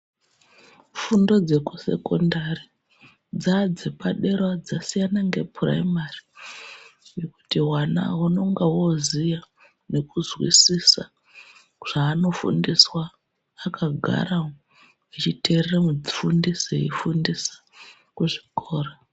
Fundo dzekusekondari dzave dzepaderawo dzasiyana ngepuraimari ngekuti vana unonga woziya nekuzwizisa zvaanofundiswa akagara umu achiteerera mufundisi eifundisa kuzvikora.